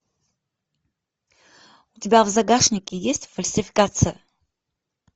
у тебя в загашнике есть фальсификация